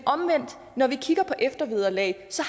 når vi omvendt kigger på eftervederlag så